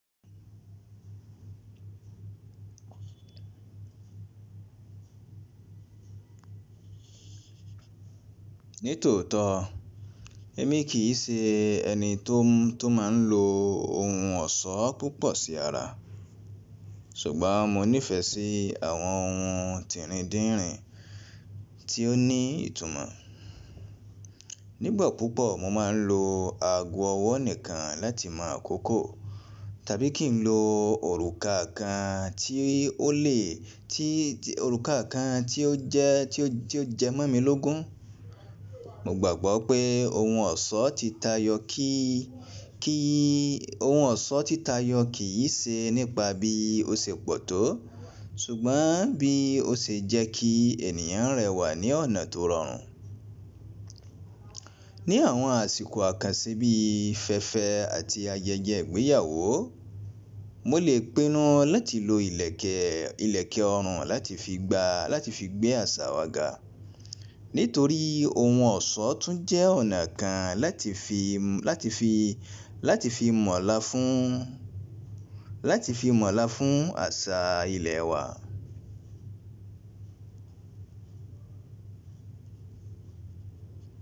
Nítòótọ́, èmi kì í ṣe ẹni tó máa ń lo ohun ọ̀ṣọ́ púpọ̀ sí ara, ṣùgbọ́n mo nífẹ̀ẹ́ sí àwọn ohun tíìrín díìrín tí ó ní ìtumọ̀. Nígbà púpọ̀ mo máa ń lo ago ọwọ́ nìkan láti mọ àkókò tàbí kí ń lo òrùka kan tí ó jẹ ti o jẹmọ́ mi lógun. Mo gbàgbọ́ pé ohun ọ̀ṣọ́ ti tayọ kì í ṣe nípa bí ó ṣe pọ̀ tó ṣùgbọ́n bí ó ṣe jẹ́ kí ènìyàn rẹwà ní ọ̀nà tó rọrùn. Ni àwọn àsìkò àkànṣe bí i fẹ́ẹ́fẹ́ àti ayẹyẹ ìgbéyàwó, mo lè pinnu láti lo ìlẹ̀kẹ̀ ìlẹ̀kẹ̀ ọrùn láti fi gbé àṣà wa ga nítorí ohun ọ̀ṣọ́ tún jẹ́ ọ̀nà kan láti fi mọ̀la fún mọ̀lá fún àṣà ilẹ̀ wa.